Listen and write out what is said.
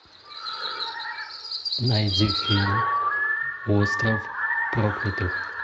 найди фильм остров проклятых